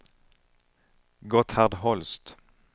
Gotthard Holst